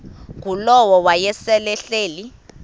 ngulowo wayesel ehleli